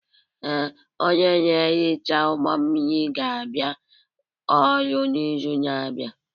Ee, onye na-ehicha ụgbọ mmiri ga-abịa ọrụ n'izu na-abịa.